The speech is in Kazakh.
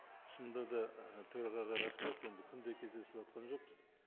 шыныда да ы төрағаға рахмет енді күнде кездесіватқан жоқпыз